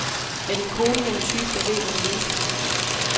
Er din kone den type, der ved, hvad hun vil.